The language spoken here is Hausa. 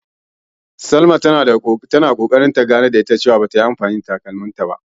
Salama na ganar da ita cewa bata yi anfani da takalmanta ba, sanda bata nan.